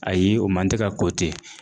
Ayi o man tɛ ka ko te